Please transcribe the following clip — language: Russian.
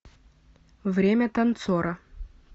время танцора